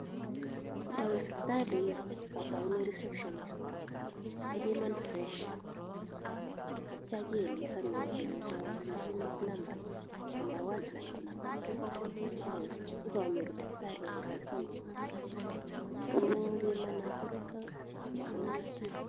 Ngowe sipitali ataunen reception kebiman pressure akitio keelesonwon kelenchon uii rumit number one anan ko number two owee ibonyoru takitari oelesonji kobimanan koruton ak kokonon kerichek.